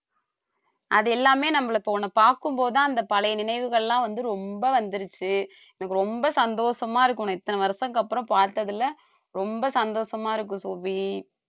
அது எல்லாமே நம்மளுக்கு இப்ப உன்ன பார்க்கும் போதுதான் அந்த பழைய நினைவுகள்லாம் வந்து ரொம்ப வந்துருச்சு நம்ம ரொம்ப சந்தோஷமா இருக்கணும் இத்தனை வருஷத்துக்கு அப்புறம் பார்த்ததுல ரொம்ப சந்தோஷமா இருக்கு சோபி